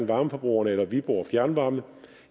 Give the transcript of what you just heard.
varmeforbrugerne eller viborg fjernvarme